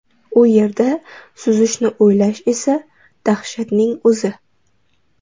U yerda suzishni o‘ylash esa dahshatning o‘zi.